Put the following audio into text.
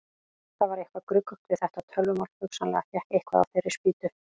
Það var eitthvað gruggugt við þetta tölvumál, hugsanlega hékk eitthvað á þeirri spýtu.